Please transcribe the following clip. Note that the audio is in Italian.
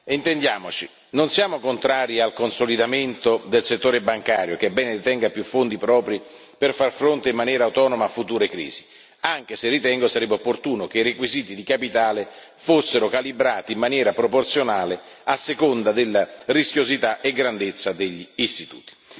E intendiamoci non siamo contrari al consolidamento del settore bancario, che è bene detenga più fondi propri per far fronte in maniera autonoma a future crisi, anche se ritengo sarebbe opportuno che i requisiti di capitale fossero calibrati in maniera proporzionale a seconda della rischiosità e grandezza degli istituti.